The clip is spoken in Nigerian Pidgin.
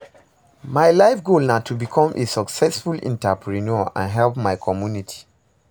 My life goal na to become a successful entrepreneur and help my community.